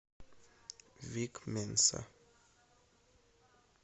вик менса